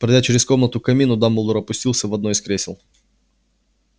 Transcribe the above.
пройдя через комнату к камину дамблдор опустился в одно из кресел